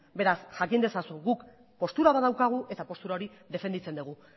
beraz jakin ezazu guk postura bat daukagu eta postura hori defenditzen dugu